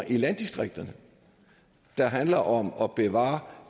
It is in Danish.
i landdistriktsmidlerne der handler om at bevare